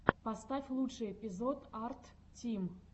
поставь лучший эпизод арттим